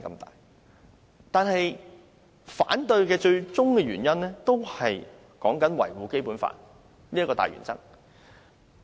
但是我反對的最終原因就是要維護《基本法》這個大原則。